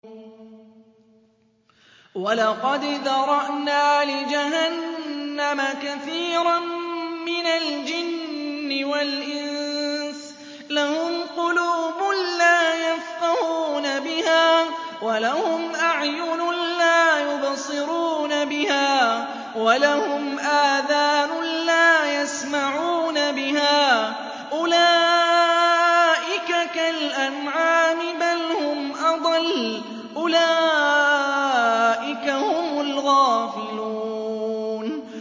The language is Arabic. وَلَقَدْ ذَرَأْنَا لِجَهَنَّمَ كَثِيرًا مِّنَ الْجِنِّ وَالْإِنسِ ۖ لَهُمْ قُلُوبٌ لَّا يَفْقَهُونَ بِهَا وَلَهُمْ أَعْيُنٌ لَّا يُبْصِرُونَ بِهَا وَلَهُمْ آذَانٌ لَّا يَسْمَعُونَ بِهَا ۚ أُولَٰئِكَ كَالْأَنْعَامِ بَلْ هُمْ أَضَلُّ ۚ أُولَٰئِكَ هُمُ الْغَافِلُونَ